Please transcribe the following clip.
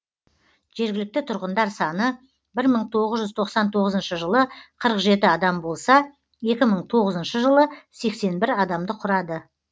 жергілікті тұрғындар саны бір мың тоғыз жүз тоқсан тоғызыншы жылы қырық жеті адам болса екі мың тоғызыншы жылы сексен бір адамды құрады